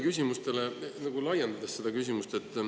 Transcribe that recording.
Ma laiendan kolleegi küsimust.